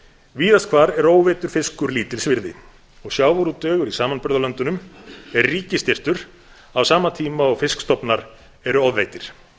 víðast hvar er óveiddur fiskur lítils virði og sjávarútvegur í samanburðarlöndunum er ríkisstyrktur á sama tíma og fiskstofnar eru ofveiddir